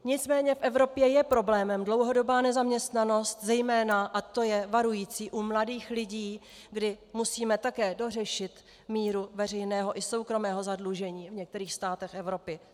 Nicméně v Evropě je problémem dlouhodobá nezaměstnanost, zejména, a to je varující, u mladých lidí, kdy musíme také dořešit míru veřejného i soukromého zadlužení v některých státech Evropy.